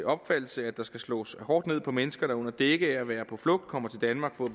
opfattelse at der skal slås hårdt ned på mennesker der under dække af at være på flugt kommer til danmark for